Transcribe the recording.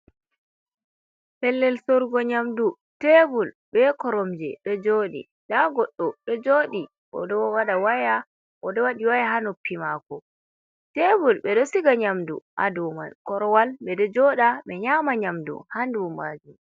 Pellel sorgo nyamdu tebul be koromje ɗo joɗi nda goɗɗo ɗo jodi oɗo waɗa waya, oɗo waɗi waya ha noppi mako, tebul ɓe ɗo siga nyamdu ha dou, korwal ɓe ɗo joɗa ɓe nyama nyamdu ha dou majum.